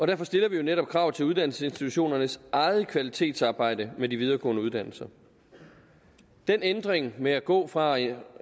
derfor stiller vi jo netop krav til uddannelsesinstitutionernes eget kvalitetsarbejde med de videregående uddannelser den ændring med at gå fra at